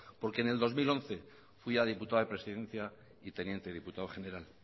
porque en el dos mil once fui a diputado de presidencia y teniente diputado general